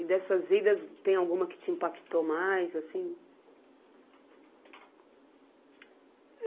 E dessas idas, tem alguma que te impactou mais, assim?